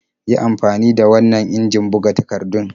Yi amfani da wannan injin buga takardun.